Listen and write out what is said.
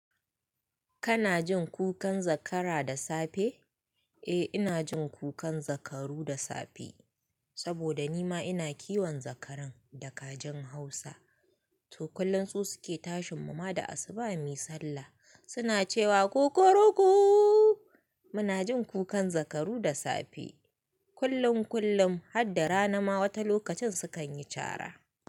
Kana jin kukan zakara da safe? Eh, ina jin kukan zakaru da safe. Saboda ni ma ina kiwon zakaran da kajin Hausa. To, kullum su suke tashin mu ma da asuba mui sallah. Suna cewa "kukuruku". Muna jin kukan zakaru da safe. Kullum kullum, har da rana ma wata lokacin sukan yi cara.